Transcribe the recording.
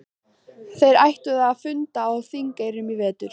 Þeir ætluðu að funda á Þingeyrum í vetur.